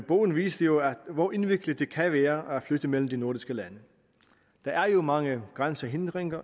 bogen viste jo hvor indviklet det kan være at flytte mellem de nordiske lande der er jo mange grænsehindringer